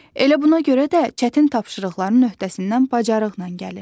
Elə buna görə də çətin tapşırıqların öhdəsindən bacarıqla gəlir.